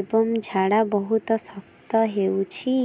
ଏବଂ ଝାଡା ବହୁତ ଶକ୍ତ ହେଉଛି